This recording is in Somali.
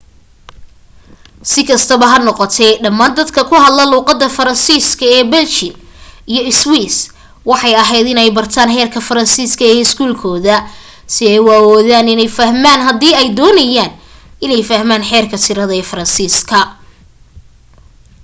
si kastaba ha noqotee dhamaan dadka ku hadla luuqada faransiis ka ee belgian iyo swiss waxay aheyd in ay bartaan heerka faransiiska ee iskuul kooda si ay u awoodaan iney fahmaan haddii ay doonayaan iney fahmaan xeerka tirade ee faransiiska